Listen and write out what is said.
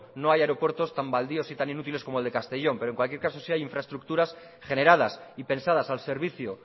no hay aeropuertos tan baldíos y tan inútiles como el de castellón pero en cualquier caso sí hay infraestructuras generadas y pensadas al servicio